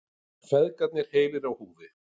Feðgarnir heilir á húfi